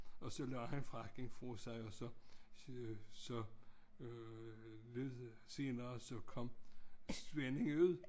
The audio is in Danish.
Og så lagde han frakken fra sig og så så lyttede senere kom svenden ud